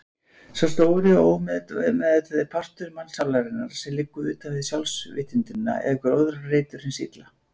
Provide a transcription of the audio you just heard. Sá stóri og ómeðvitaði partur mannssálarinnar sem liggur utanvið sjálfsvitundina er gróðurreitur hins illa.